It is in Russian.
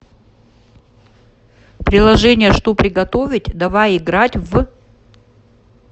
приложение что приготовить давай играть в